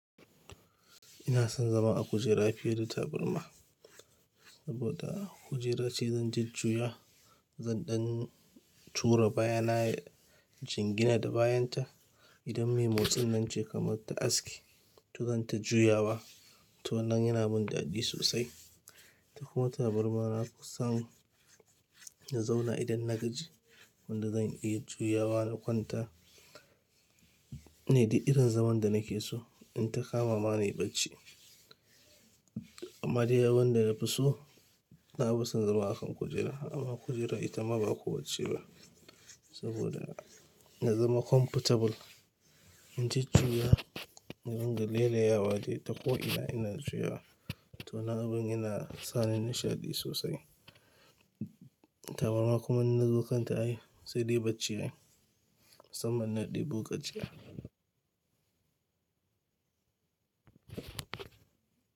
Ina son zama a kujera fiye da tabarma saboda a kujera ce zan ji jjuya. Zan ɗan tura baya na jingina da bayanta idan mai motsin nan ce kamar ta aski, to zan ta juya wa. To wannan yana min daɗi sosai. Ta kuma tabarma na kusan na zauna idan na gaji wanda zan iya juya wa na kwanta ne duk irin zaman da nake so in ta kama ma ni bacci. Amma dai abin da na fi so, na fi son zama a kan kujera. Amma kujera ita ma ba kowacce ba saboda na zama comfortable in ji jjuya, na ringa leleyawa dai ta ko ina ina juya. To wannan abin yana sa ni nashiɗi sosai. Tabarma kuma in na zo kanta a yi sai dai bacci a yi, musamman na ɗibo gajiya.